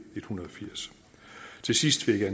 hundrede og firs til sidst vil jeg